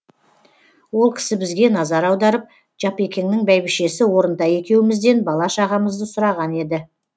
ол кісі бізге назар аударып жапекеңнің бәйбішесі орынтай екеумізден бала шағамызды сұраған еді